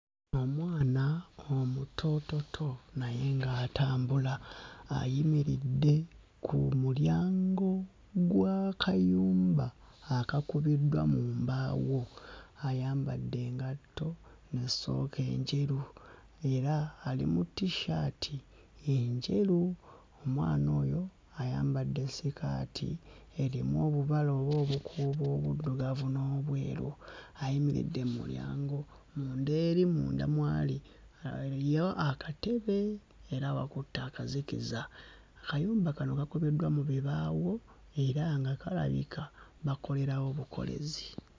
Omwana omutoototo naye ng'atambula ayimiridde ku mulyango gw'akayumba akakubiddwa mu mbaawo, ayambadde engatto mu ssooko enjeru era ali mu t-shirt enjeru. Omwana oyo ayambadde sikaati erimu obubala oba obukuubo obuddugavu n'obweru ayimiridde mmulyango munda eri munda mw'ali aliyo akatebe era wakutte akazikiza. Akayumba kano kakubiddwa mu bibaawo era nga kalabika bakolerawo bukolezi.